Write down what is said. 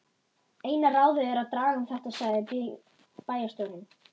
Eina ráðið er að draga um þetta sagði bæjarstjórinn.